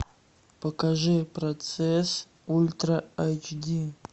покажи процесс ультра айч ди